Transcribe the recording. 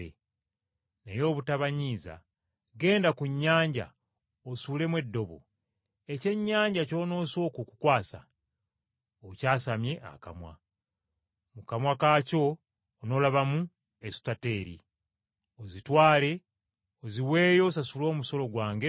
“Naye obutabanyiiza, genda ku nnyanja osuulemu eddobo, ekyennyanja ky’onoosooka okukwasa okyasamye akamwa. Mu kamwa kaakyo onoolabamu esutateri, ozitwale oziweeyo osasule omusolo gwange n’ogugwo.”